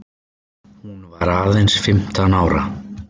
Hún varð aðeins fimmtán ára.